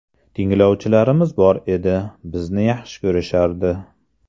Tinglovchilarimiz bor edi, bizni yaxshi ko‘rishardi.